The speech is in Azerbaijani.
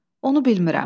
Onu bilmirəm.